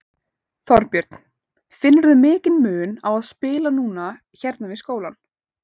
Þorbjörn: Finnurðu mikinn mun á að spila núna hérna við skólann?